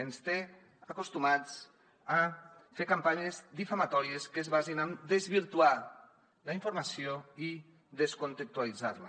ens té acostumats a fer campanyes difamatòries que es basin en desvirtuar la informació i descontextualitzar la